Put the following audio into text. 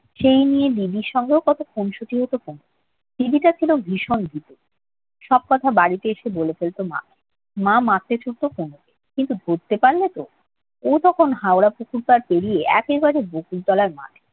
সেই নিয়ে দিদির সঙ্গেও কত খুনসুটি হতো তনুর । দিদিটা ছিল ভীষণ ভীতু। সব কথা বাড়িতে এসে বলে ফেলত মাকে। মা মারতে ছুটতো তনুকে। কিন্তু ধরতে পারলেতো। ও তখন হাওড়া পুকুর পাড় পেড়িয়ে একেবারে বকুলতলার মাঠে।